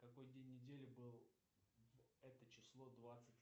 какой день недели был в это число двадцать